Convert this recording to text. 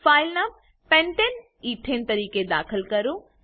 file નામ pentane એથને તરીકે દાખલ કરો